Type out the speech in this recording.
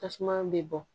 Tasuma bɛ bɔ